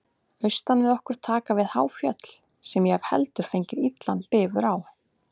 Austan við okkur taka við há fjöll, sem ég hef heldur fengið illan bifur á.